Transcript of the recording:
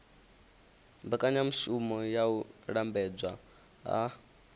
mbekanyamushumo ya u lambedzwa ha